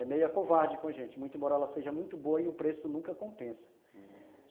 é meia covarde com a gente, muito moral, ela seja muito boa e o preço nunca compensa, ah...